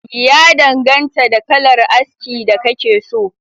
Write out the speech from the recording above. Ya danganta da kalar aski da kake so